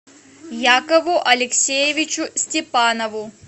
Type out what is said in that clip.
якову алексеевичу степанову